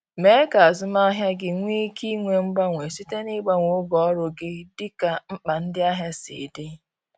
Mee ka azụmahịa gị nwee ike inwe mgbanwe site n’ịgbanwe oge ọrụ gị dịka mkpa ndị ahịa si dị.